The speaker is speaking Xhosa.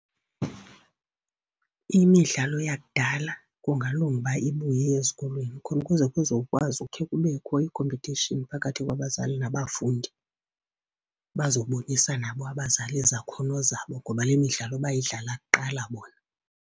Imidlalo yakudala kungalunga uba ibuye ezikolweni khona kuze kuzokwazi ukhe kubekho ii-competition phakathi kwabazali nabafundi. Bazobonisa nabo abazali izakhono zabo ngoba le midlalo bayidlala kuqala bona.